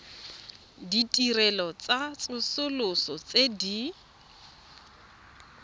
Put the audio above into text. ditirelo tsa tsosoloso tse di